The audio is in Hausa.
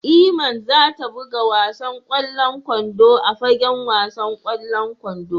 Iman za ta buga wasan kwallon kwando a fagen wasan kwallon kwando.